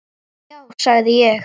Já sagði ég.